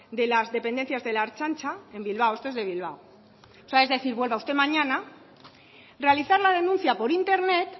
de las dependencias de la ertzaintza en bilbao esto es de bilbao o sea es decir vuelva usted mañana realizar la denuncia por internet